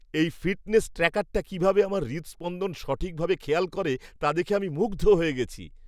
এই ফিটনেস ট্র্যাকারটা কীভাবে আমার হৃদস্পন্দন সঠিকভাবে খেয়াল করে তা দেখে আমি মুগ্ধ হয়ে গেছি।